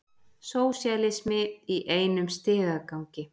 Sósíalismi í einum stigagangi.